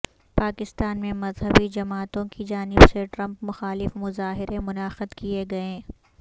پاکستان میں مذہبی جماعتوں کی جانب سے ٹرمپ مخالف مظاہرے منعقد کیے گئے